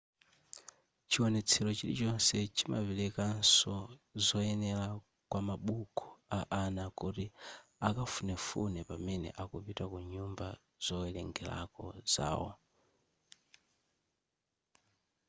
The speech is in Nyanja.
chiwonetsero chilichonse chimaperekanso zoyenera kwamabuku a ana kuti akafunefune pamene akupita ku nyumba zowerengerako zawo